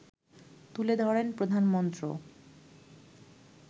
তুলে ধরেন প্রধানমন্ত্র